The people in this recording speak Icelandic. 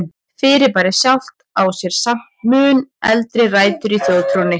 Fyrirbærið sjálft á sér samt mun eldri rætur í þjóðtrúnni.